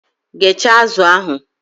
Ghechaa azụ ahụ!